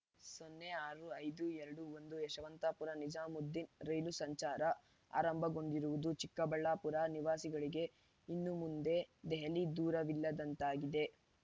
ಸೊನ್ನೆ ಆರು ಐದು ಎರಡು ಒಂದು ಯಶವಂತಪುರ ನಿಜಾಮುದ್ದೀನ್ ರೈಲು ಸಂಚಾರ ಆರಂಭಗೊಂಡಿರುವುದು ಚಿಕ್ಕಬಳ್ಳಾಪುರ ನಿವಾಸಿಗಳಿಗೆ ಇನ್ನು ಮುಂದೆ ದೆಹಲಿ ದೂರವಿಲ್ಲದಂತಾಗಿದೆ